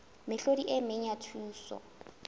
mehlodi e meng ya thuso